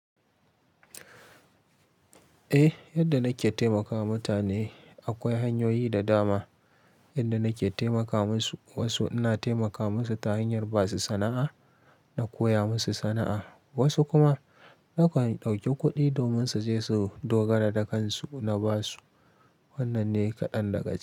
Eh, yadda nake taimakawa mutane, akwai hanyoyi da dama, yadda nake taimaka musu. Wasu ina taimaka musu ta hanyar ba su sana'a, na koya musu sana'a. Wasu kuma na kan ɗauki kuɗi domin su je su dogara da kansu, na ba su. Wannan ne kaɗan daga ciki.